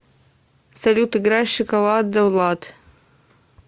салют играй шоколад давлад